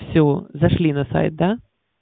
всё зашли на сайт да